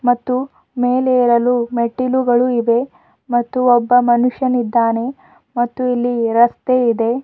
ಮತ್ತು ಮೇಲೆ ಏರಲು ಮೆಟ್ಟಿಲುಗಳು ಇವೆ ಮತ್ತು ಒಬ್ಬ ಮನುಷ್ಯನಿದ್ದಾನೆ ಮತ್ತು ಇಲ್ಲಿ ರಸ್ತೆ ಇದೆ.